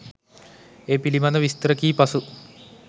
ඒ පිළිබඳ විස්තර කී පසු